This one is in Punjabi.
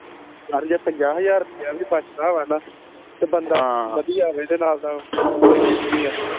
ਯਾਰ ਜੇ ਪੰਜਾਹ ਹਜ਼ਾਰ ਰੁਪਈਆ ਵੀ ਬਚਦਾ ਵਾ ਨਾ ਤੇ ਬੰਦਾ ਵਧਿਆ ਹੋਵੇ ਤੇ ਨਾਲ ਦਾ ਕੋਈ ਰੀਸ ਨੀ ਆ